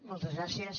moltes gràcies